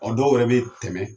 O dɔw yɛrɛ bɛ tɛmɛ